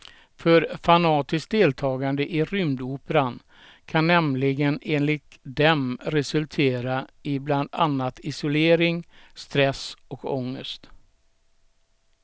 För fanatiskt deltagande i rymdoperan kan nämligen enligt dem resultera i bland annat isolering, stress och ångest.